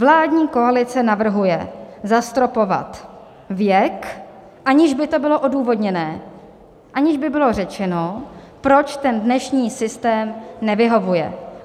Vládní koalice navrhuje zastropovat věk, aniž by to bylo odůvodněné, aniž by bylo řečeno, proč ten dnešní systém nevyhovuje.